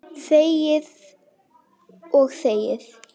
Þegir og þegir.